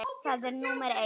Það er númer eitt.